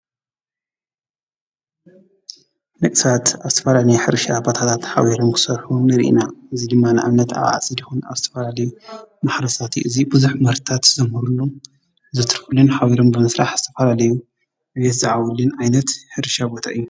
ደቂ ሰባት ኣብ ዝተፈላለዩ ናይ ሕርሻ ቦታታት ሓቢሮም ክሰርሑ ንርኢ ኢና። እዚ ድማ ንኣብነት ኣብ ዓፂድ ይኩን አብ ዝተፈላለዩ ማሕረሳት እዪ። እዚ ብዙሓት ምህርትታት ዘምህርሉ ዘትርፍሉን ሓቢሮም ብምስራሕ ዝተፈላለዩ ዕብየት ዝዓብይሉ ዓይነት ሕርሻ ቦታ እዪ ።